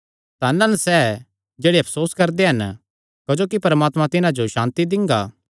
धन हन सैह़ जेह्ड़े अफसोस करदे हन क्जोकि परमात्मा तिन्हां जो सांति दिंगा